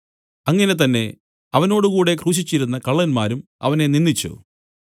അങ്ങനെ തന്നെ അവനോടുകൂടെ ക്രൂശിച്ചിരുന്ന കള്ളന്മാരും അവനെ നിന്ദിച്ചു